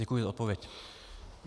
Děkuji za odpověď.